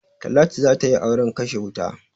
Talatu za ta yi auren kashe wuta.